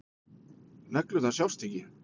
Neglurnar sjást ekki.